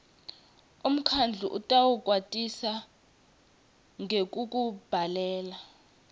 umkhandlu utawukwatisa ngekukubhalela